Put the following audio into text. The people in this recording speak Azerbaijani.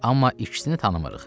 Amma ikisini tanımırıq.